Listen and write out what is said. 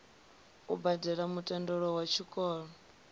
u badele mutendelo wa tshikolo